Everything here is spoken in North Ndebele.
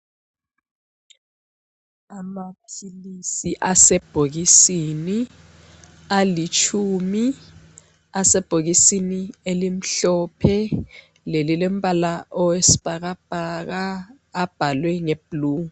Amaphilisi asebhokisini alitshumi asebhokisini elimhlophe lelilombala owesibhakabhaka abhalwe ngeblue.